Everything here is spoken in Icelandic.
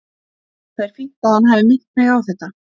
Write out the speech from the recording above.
Það er fínt að hann hafi minnt mig á þetta.